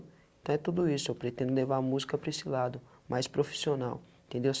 Então é tudo isso, eu pretendo levar a música para esse lado, mais profissional, entendeu?